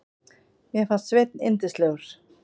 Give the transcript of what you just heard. Mér fannst Sveinn yndislegur.